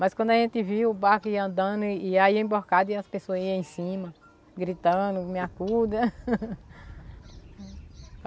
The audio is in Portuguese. Mas quando a gente viu o barco andando e aí emborcado e as pessoas iam em cima, gritando, me acuda.